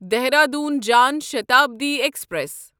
Dehradun Jan Shatabdi express